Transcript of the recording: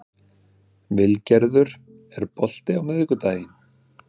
Vilgerður, er bolti á miðvikudaginn?